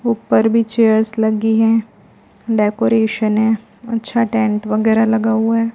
ऊपर भी चेयर्स लगी हैं डेकोरेशन है अच्छा टेंट वगैरह लगा हुआ है।